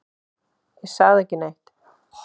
Ég sagði ekki neitt.